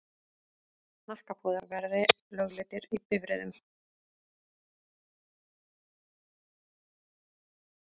Hnakkapúðar verði lögleiddir í bifreiðum.